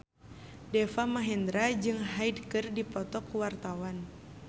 Deva Mahendra jeung Hyde keur dipoto ku wartawan